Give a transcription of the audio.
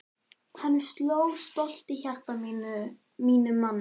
Þá sló stolt hjarta í mínum manni!